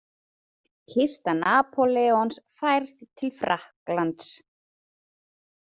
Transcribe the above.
Kista Napóleons færð til Frakklands.